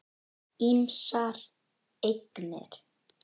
Ýmsar eignir.